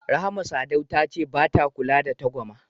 Rahama Sadau ta ce bata kula twangwama.